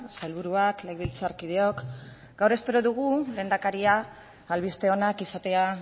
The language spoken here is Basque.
sailburuak legebiltzarkideok gaur espero dugu lehendakaria albiste onak izatea